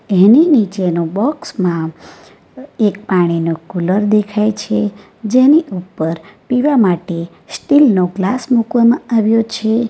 એની નીચેનો બોક્સમાં એક પાણીનો કુલર દેખાય છે જેની ઉપર પીવા માટે સ્ટીલ નો ગ્લાસ મૂકવામાં આવ્યો છે.